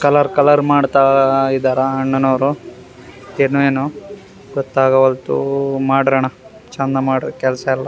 Colour colour ಮಾಡ್ತಾ ಇದಾರ ಅಣ್ಣನವರು ಏನೊ ಏನೊ ಗೋತ್ತಗವಲ್ದು ಮಾಡ್ರನ್ನ ಚಂದ ಮಾಡ್ರಿ ಕೆಲ್ಸ ಎಲ್ಲ.